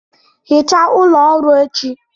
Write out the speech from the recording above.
Hichaa ụlọ ọrụ echi